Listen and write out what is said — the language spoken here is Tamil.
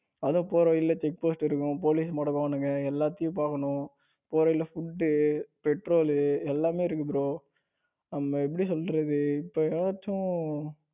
அதுவும் போற வழியில check post இருக்கும். police மடக்குவானுங்க எல்லாத்தையும் பாக்கணும் போகையில food, petrol எல்லாமே இருக்கு bro அங்க எப்படி சொல்றது இப்போ ஏதாச்சும்